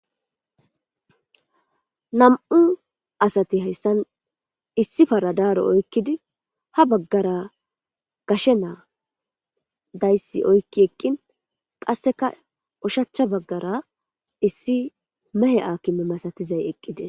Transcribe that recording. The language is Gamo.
nam7u asati hayssan issi paradaaro oykkidi ha baggara gashe naa dayssi oykki eqqin qasseka ushachcha baggara issi mehe akime masatizay eqqides